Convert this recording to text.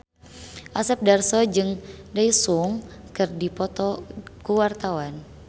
Asep Darso jeung Daesung keur dipoto ku wartawan